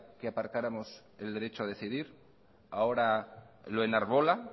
que aparcáramos el derecho a decidir ahora lo enarbola